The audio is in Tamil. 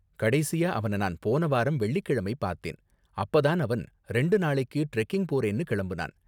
கடைசியா அவன நான் போன வாரம் வெள்ளிக்கிழமை பார்த்தேன், அப்ப தான் அவன் ரெண்டு நாளைக்கு டிரெக்கிங் போறேன்னு கிளம்புனான்.